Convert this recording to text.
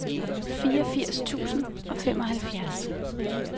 fireogfirs tusind og femoghalvfjerds